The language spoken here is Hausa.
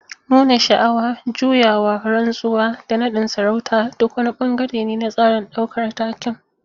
Nuna sha'awa, juyawa, rantsuwa, da nadin sarauta duk wani bangare ne na tsarin daukar taken.